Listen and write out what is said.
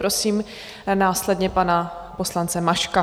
Prosím následně pana poslance Maška.